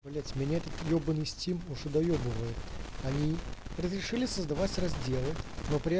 блять меня этот ебанный стим уже доебывает они разрешили создавать разделы но при этом